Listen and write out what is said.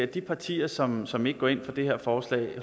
de partier som som ikke går ind for det her forslag